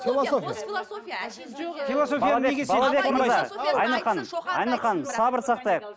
философия айнұр ханым сабыр сақтайық